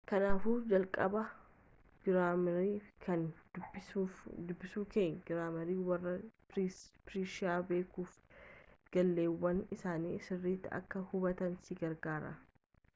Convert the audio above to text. kaanaafuu jalqaba giraamarii kana dubbisuunkee giraamarii warra peershiyaa beekuufi gaaleewwan isaanii sirriitti akka hubattu si gargaara